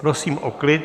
Prosím o klid.